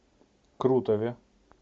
крутове